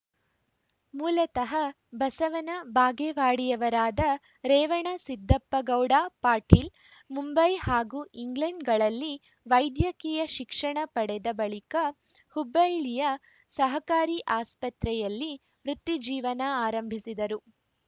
ಮೂಲತಃ ಬಸವನ ಬಾಗೇವಾಡಿಯವರಾದ ರೇವಣಸಿದ್ದಪ್ಪಗೌಡ ಪಾಟೀಲ್‌ ಮುಂಬೈ ಹಾಗೂ ಇಂಗ್ಲೆಂಡ್‌ಗಳಲ್ಲಿ ವೈದ್ಯಕೀಯ ಶಿಕ್ಷಣ ಪಡೆದ ಬಳಿಕ ಹುಬ್ಬಳ್ಳಿಯ ಸಹಕಾರಿ ಆಸ್ಪತ್ರೆಯಲ್ಲಿ ವೃತ್ತಿಜೀವನ ಆರಂಭಿಸಿದರು